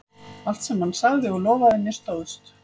Allt sem hann sagði og lofaði mér stóðst.